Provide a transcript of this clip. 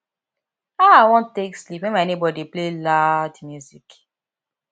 how i wan take sleep wen my nebor dey play loud music